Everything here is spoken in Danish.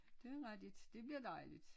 Det er rigtigt det bliver dejligt